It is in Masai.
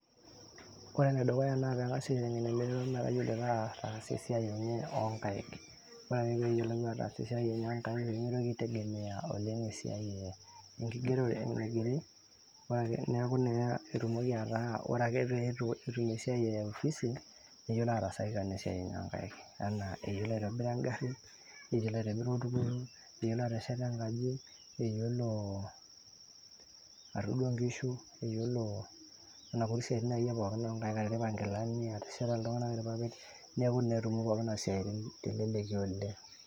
Ore enedukuya naa pee eng'asai aiteng'en elelero metayoloito ataasa esia enye oo nkaik, ore ake peeyiolou ataas esiai enye oo nkaik pee meitoki ategemea esiai nageri neeku naa ore peetum esiai ee CS[Office]CS neyiolo ataasaki keon enye esiai oonkaik anaa eyiolo aitobira enkarri anaa eyiolo aitobira oltukutuk neyiolo atesheta enkaji neyiolo atuudo inkishu neyiolo nena siatin pooki oo nkaik enaa atiripa inkilani, atesheta iltung'anak irpapit neeku naa etumi nena siatin teleleki oleng'.